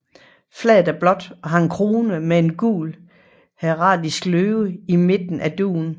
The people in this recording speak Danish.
Flaget er blåt og har en krone med en gul heraldisk løve i midten af dugen